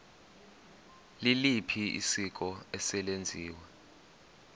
liliphi isiko eselenziwe